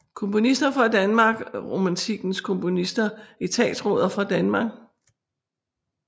Komponister fra Danmark Romantikkens komponister Etatsråder fra Danmark